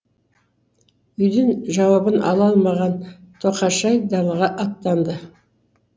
үйден жауабын ала алмаған тоқашай далаға аттанды